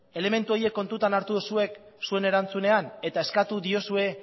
elementu horiek kontutan hartu duzue zuen erantzunean eta eskatu diozue